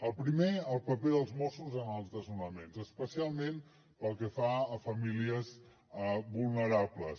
el primer el paper dels mossos en els desnonaments especialment pel que fa a famílies vulnerables